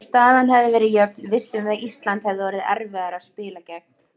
Ef staðan hefði verið jöfn vissum við að Ísland hefði orðið erfiðara að spila gegn.